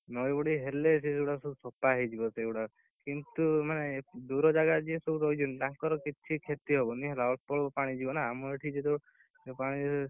ନଈବଢି ହେଲେ ସେଇଗୁଡା ସବୁ ସଫା ହେଇଯିବ ସେଇଗୁଡାକ, କିନ୍ତୁ ମାନେ ଦୂର ଜାଗାରେ ଯିଏ ସବୁ ରହିଛନ୍ତି ତାଙ୍କର କିଛି କ୍ଷତି ହବନି ଅଳ୍ପ ଅଳ୍ପ ପାଣି ଯିବ ନା, ଆମର ଏଠି